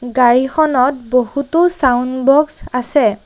গাড়ীখনত বহুতো sound box আছে।